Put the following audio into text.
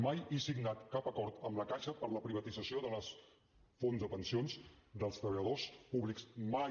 mai he signat cap acord amb la caixa per la privatització dels fons de pensions dels treballadors públics mai